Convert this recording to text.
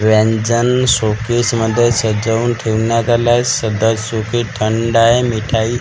व्यंजन showcase मध्ये सजवून ठेवण्यात आले आहे सदर सोपी थंड आहे मिठाई --